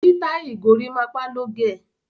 Sítáìlì gorímápá ló gẹ̀.